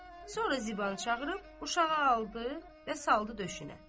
Sonra Zibanı çağırıb uşağı aldı və saldı döşünə.